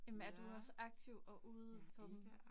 Jamen er du også aktiv og ude på dem?